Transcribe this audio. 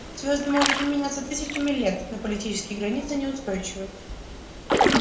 звезды могут не меняться тысячами лет но политические границы неустойчивы